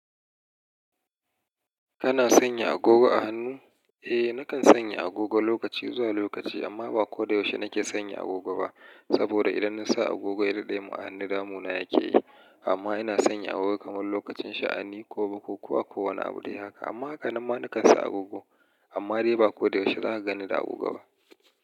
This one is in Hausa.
Kana sanya agogo a hannu? Eh nakan sanya agogo lokaci zuwa lokaci amma ba ko da yaushe nake sanya agogo ba. Saboda idan nasa agogo ya daɗe ma hannun damuna yake yi. Amma ina sanya agogo kamar lokacin sha'ani ko bukuwa ko a kowane abu dai haka. Amma haka nan ma na kan sa agogo amma dai ba ko da yaushe za ka gani da agogo ba.